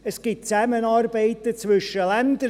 Es gibt Zusammenarbeiten zwischen Ländern.